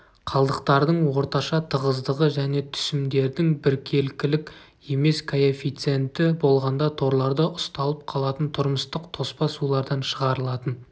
қалдықтардың орташа тығыздығы және түсімдердің біркелкілік емес коэффициенті болғанда торларда ұсталып қалатын тұрмыстық тоспа сулардан шығарылатын